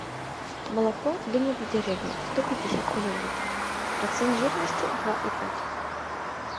молоко домик в деревне сто пятьдесят миллилитров процент жирности два и пять